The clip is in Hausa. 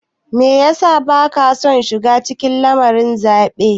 Me ya sa baka son shiga cikin lamarin zaɓe?